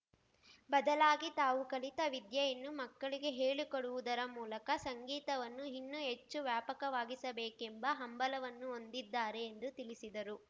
ಬದಲಾಗಿ ತಾವು ಕಲಿತ ವಿದ್ಯೆಯನ್ನು ಮಕ್ಕಳಿಗೆ ಹೇಳಿಕೊಡುವುದರ ಮೂಲಕ ಸಂಗೀತವನ್ನು ಇನ್ನೂ ಹೆಚ್ಚು ವ್ಯಾಪಕವಾಗಿಸಬೇಕೆಂಬ ಹಂಬಲವನ್ನು ಹೊಂದಿದ್ದಾರೆ ಎಂದು ತಿಳಿಸಿದರು